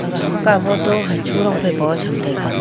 ega hamka photo hachu rong phai paun cham taiga.